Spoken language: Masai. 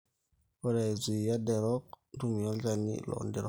ore aizuia derok ,ntumia olchani loo nderok